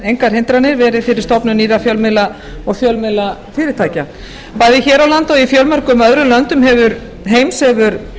engar hindranir verið fyrir stofnun nýrra fjölmiðla og fjölmiðlafyrirtækja bæði hér á landi og í fjölmörgum öðrum löndum heims hefur